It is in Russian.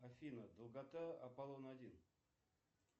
афина долгота аполлона один